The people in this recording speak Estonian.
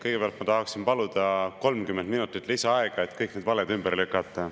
Kõigepealt ma tahaksin paluda 30 minutit lisaaega, et kõik need valed ümber lükata.